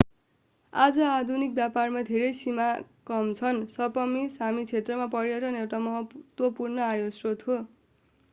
आज आधुनिक व्यापारमा धेरै सामी काम गर्छन् सपमी सामी क्षेत्रमा पर्यटन एउटा महत्त्वपूर्ण आयस्रोत हो